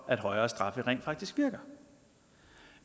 at højere straffe rent faktisk virker